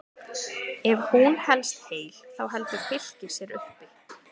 Ef hún helst heil þá heldur Fylkir sér uppi.